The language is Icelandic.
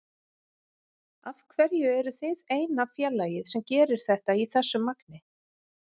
Af hverju eruð þið eina félagið sem gerir þetta í þessu magni?